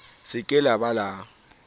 se ke la ba la